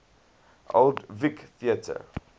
old vic theatre